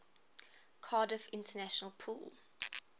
cardiff international pool